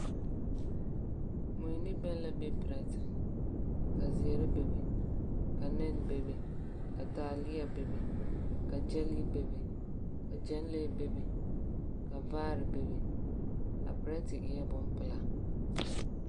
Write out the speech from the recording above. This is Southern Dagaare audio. Mui ne bԑŋ la be perԑte, ka zeԑre bebe, ka nԑne bebe, ka taaleԑ bebe ka gyԑlee bebe, ka gyԑnlee bebe ka vaare bebe. A perԑte eԑԑ bompelaa.